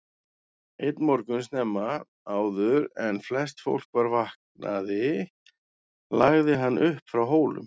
Einn morgun snemma, áður en flest fólk var vaknaði lagði hann upp frá Hólum.